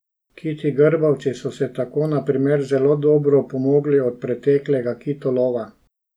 Kiti grbavci so se tako na primer zelo dobro opomogli od preteklega kitolova.